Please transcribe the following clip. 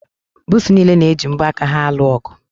Buusu niile na-eji mbo aka ha alụ ọgụ.